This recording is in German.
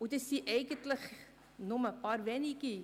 Dies sind nur einige wenige;